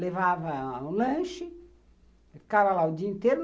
Levava o lanche, ficava lá o dia inteiro.